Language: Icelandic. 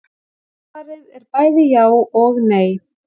Svarið er bæði já og nei.